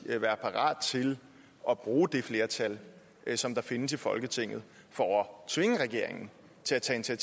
vil være parat til at bruge det flertal som findes i folketinget for at tvinge regeringen til at tage